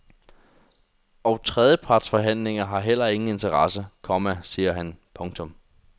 Og trepartsforhandlinger har heller ingen interesse, komma siger han. punktum